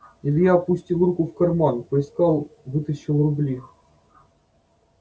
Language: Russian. илья опустил руку в карман поискал вытащил рубли